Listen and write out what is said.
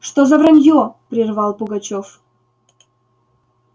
что за враньё прервал пугачёв